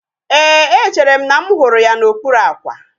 Éè, echere m na mụ hụrụ ya n'okpuru àkwà